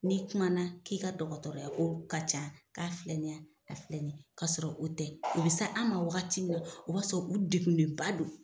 N'i kumana na k'i ka dɔgɔtɔrɔya ko ka ca k'a filanya ka filɛ nin ye k'a sɔrɔ o tɛ o be sa an ma wagati min na o b'a sɔrɔ u degunenba don